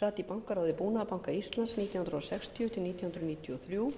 sat í bankaráði búnaðarbanka íslands nítján hundruð sextíu til nítján hundruð níutíu og þrjú